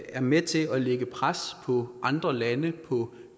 er med til at lægge pres på andre lande og på